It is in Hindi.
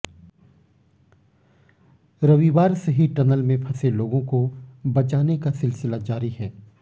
रविवार से ही टनल में फंसे लोगों को बचाने का सिलसिला जारी है